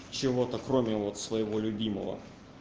чего-то кроме вот своего любимого